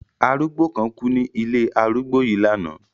Arúgbó kan kú ní ilé arúgbó yìí lánàá.